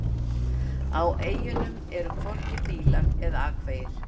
Á eyjunum eru hvorki bílar eða akvegir.